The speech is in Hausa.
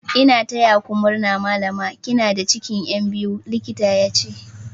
"N'na taya ku murna Mallama" kina da cikin Yan biyu, likitan ya ce.